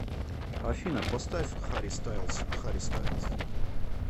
афина поставь харри стайлс харри стайлс